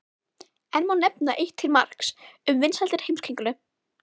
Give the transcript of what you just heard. Enn má nefna eitt til marks um vinsældir Heimskringlu.